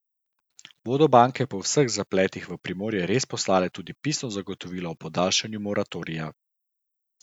Bodo banke po vseh zapletih v Primorje res poslale tudi pisno zagotovilo o podaljšanju moratorija?